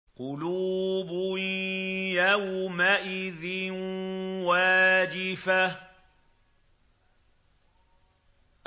قُلُوبٌ يَوْمَئِذٍ وَاجِفَةٌ